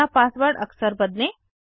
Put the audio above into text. अपना पासवर्ड अक्सर बदलें